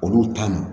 Olu ta ma